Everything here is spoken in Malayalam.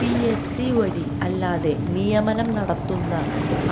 പിഎസ്സി വഴി അല്ലാതെ നിയമനം നടത്തുന്ന